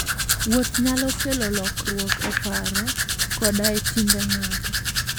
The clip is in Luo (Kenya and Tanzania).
Wuoth nyalo kelo lokruok e paro koda e timbe ng'ato.